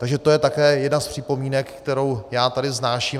Takže to je také jedna z připomínek, kterou já tady vznáším.